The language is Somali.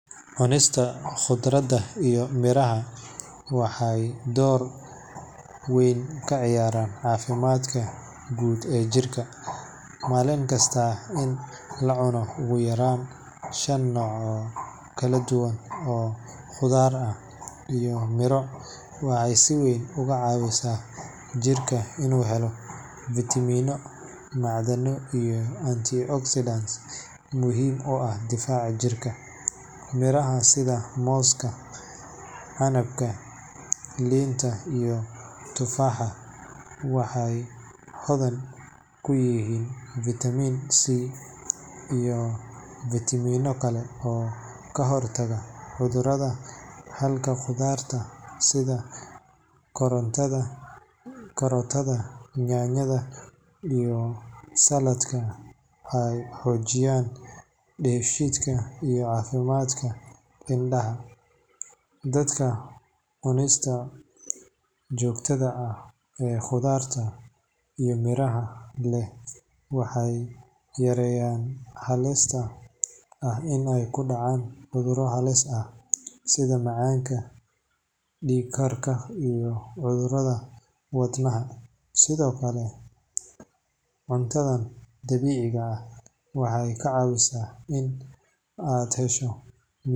Cunista khudradda iyo miraha waxay door weyn ka ciyaartaa caafimaadka guud ee jirka. Maalin kasta in la cuno ugu yaraan shan nooc oo kala duwan oo khudaar ah iyo miro waxay si weyn uga caawisaa jirka inuu helo fiitamiino, macdano iyo antioxidants muhiim u ah difaaca jirka. Miraha sida mooska, canabka, liinta iyo tufaaxa waxay hodan ku yihiin vitamin C iyo fiitamiinno kale oo ka hortaga cudurrada, halka khudradda sida karootada, yaanyada iyo saladhka ay xoojiyaan dheefshiidka iyo caafimaadka indhaha. Dadka cunista joogtada ah ee khudradda iyo miraha leh waxay yareeyaan halista ah in ay ku dhacaan cudurro halis ah sida macaanka, dhiigkarka iyo cudurrada wadnaha. Sidoo kale, cuntadan dabiiciga ah waxay kaa caawisaa in aad hesho.